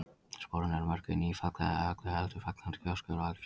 Sporin eru mörkuð í nýfallna eða öllu heldur fallandi gjósku úr eldfjalli.